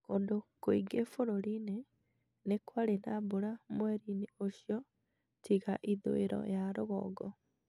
Kũndũ kũingĩ bũrũri-inĩ nikwarĩ na mbura mweri-inĩ ũcio tiga ithũũiro ya rũgongo